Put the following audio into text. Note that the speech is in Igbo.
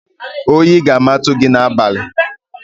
Oyi ga-amatu gị n'abalị!